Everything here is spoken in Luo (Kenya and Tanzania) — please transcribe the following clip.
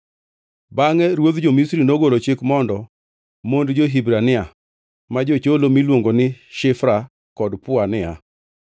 Bangʼe ruodh jo-Misri nogolo chik mondo mond jo-Hibrania ma jocholo miluongo ni Shifra kod Pua niya,